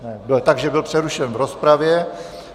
Takže byl přerušen v rozpravě.